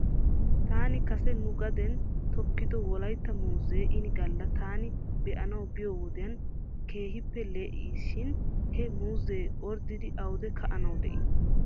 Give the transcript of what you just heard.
Taani kase nu gaden tokkido wolaytta muuzee ini gala taani be'anaw biyoo wodiyan keehippe lee'e shin he muuzee orddidi awde ka'anaw de'ii?